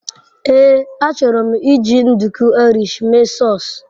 Ee, achọrọ m iji nduku Irish mee sause.